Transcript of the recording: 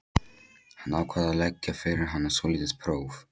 Hann ákvað að leggja fyrir hana svolítið próf.